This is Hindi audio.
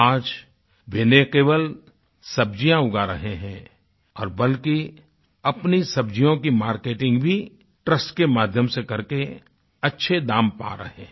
आज वह न केवल सब्जियाँ उगा रहें हैं और बल्कि अपनी सब्जियों की मार्केटिंग भी ट्रस्ट के माध्यम से कर के अच्छे दाम पा रहे हैं